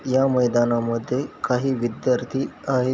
या मैदानामद्धे काही विद्यार्थी आहेत.